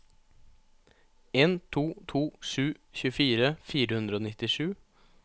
en to to sju tjuefire fire hundre og nittisju